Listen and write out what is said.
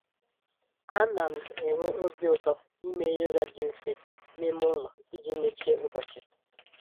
Ana m m enwe obi ụtọ ime yoga dị mfe n'ime ụlọ iji mechie ụbọchị